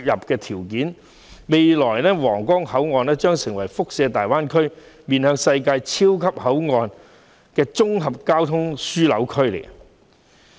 在未來，皇崗口岸將成為大灣區一個面向世界的超級口岸及綜合交通樞紐。